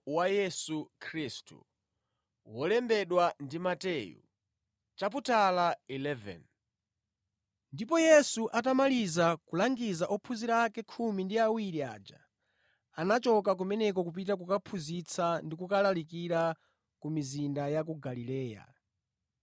Ndipo Yesu atamaliza kulangiza ophunzira ake khumi ndi awiri aja, anachoka kumeneko kupita kukaphunzitsa ndi kukalalikira ku mizinda ya ku Galileya.